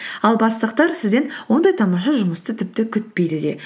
ал бастықтар сізден ондай тамаша жұмысты тіпті күтпейді де